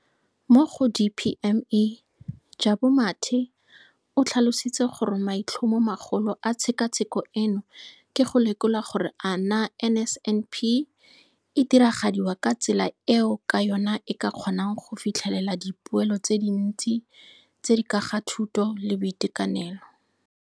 Mo go DPME, Jabu Mathe, o tlhalositse gore maitlhomomagolo a tshekatsheko eno ke go lekola gore a naa NSNP e diragadiwa ka tsela eo ka yona e ka kgonang go fitlhelela dipoelo tse dintsi tse di ka ga thuto le boitekanelo.